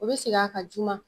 O bɛ segin a ka juma.